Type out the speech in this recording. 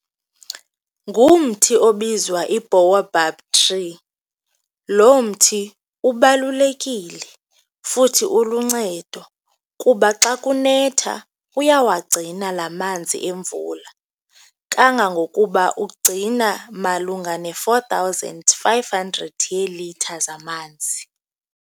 Ngumthi obizwa i-boabab tree, lo mthi ubalulekile futhi uluncedo kuba xa kunetha uyawagcina la manzi emvula kangangokuba ugcina malunga ne-four thousand five hundred yeelitha zamanzi.